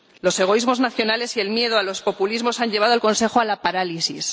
Los egoísmos nacionales y el miedo a los populismos han llevado al Consejo a la parálisis.